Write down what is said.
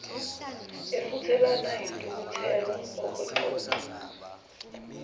efuthelana yintukuthelo okwexoxo